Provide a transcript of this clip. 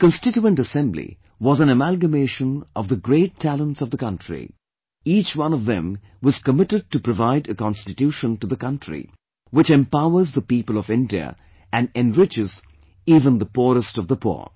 The Constituent Assembly was an amalgamation of the great talents of the country, each one of them was committed to provide a Constitution to the country which empowers the people of India and enriches even the poorest of the poor